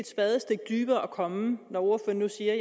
spadestik dybere at komme når ordføreren nu siger